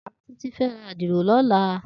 Titi fè rá àdiró lòlá